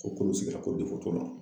Ko kolo sigila ko t'o la.